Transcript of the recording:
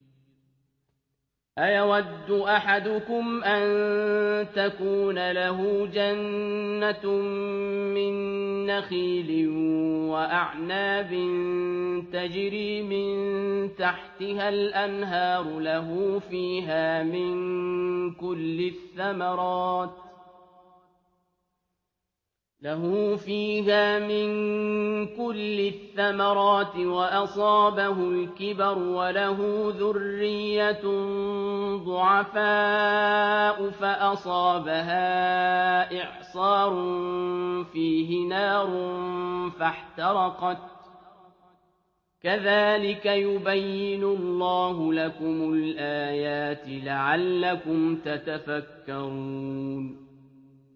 أَيَوَدُّ أَحَدُكُمْ أَن تَكُونَ لَهُ جَنَّةٌ مِّن نَّخِيلٍ وَأَعْنَابٍ تَجْرِي مِن تَحْتِهَا الْأَنْهَارُ لَهُ فِيهَا مِن كُلِّ الثَّمَرَاتِ وَأَصَابَهُ الْكِبَرُ وَلَهُ ذُرِّيَّةٌ ضُعَفَاءُ فَأَصَابَهَا إِعْصَارٌ فِيهِ نَارٌ فَاحْتَرَقَتْ ۗ كَذَٰلِكَ يُبَيِّنُ اللَّهُ لَكُمُ الْآيَاتِ لَعَلَّكُمْ تَتَفَكَّرُونَ